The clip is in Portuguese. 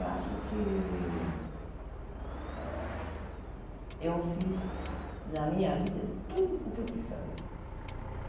E acho que eh eu fiz na minha vida tudo o que eu quis fazer.